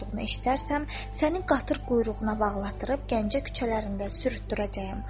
Eşitmək istərsəm, sənin qatır quyruğuna bağlatdırıb Gəncə küçələrində sürütdürəcəyəm.